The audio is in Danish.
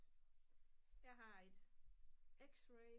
jeg har et x-ray